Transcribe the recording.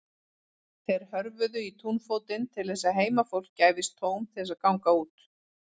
Þeir hörfuðu í túnfótinn til þess að heimafólki gæfist tóm til þess að ganga út.